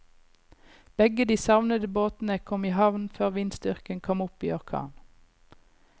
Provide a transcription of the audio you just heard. Begge de savnede båtene kom i havn før vindstyrken kom opp i orkan.